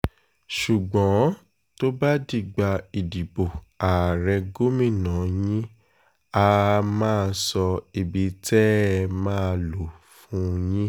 ṣùgbọ́n tó bá dìgbà ìdìbò ààrẹ gómìnà yín àá máa sọ ibi tẹ́ ẹ máa lò fún yín